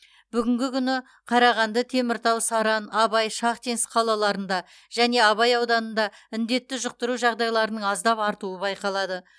бүгінгі күні қарағанды теміртау саран абай шахтинск қалаларында және абай ауданында індетті жұқтыру жағдайларының аздап артуы байқалады